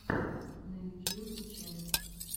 на ютьюбе ченд